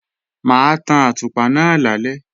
Mà á tan àtùpà náà lálẹ́